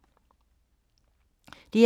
DR2